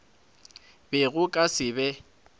be go ka se be